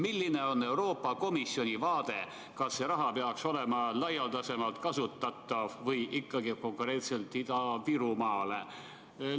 Milline on Euroopa Komisjoni vaade, kas see raha peaks olema laialdasemalt kasutatav või ikkagi konkreetselt Ida-Virumaale suunatud?